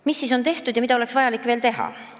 Mis on tehtud ja mida oleks vaja veel teha?